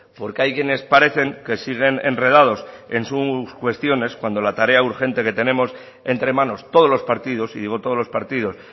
porque hay quienes parecen que siguen enredados en sus cuestiones cuando la tarea urgente que tenemos entre manos todos los partidos y digo todos los partidos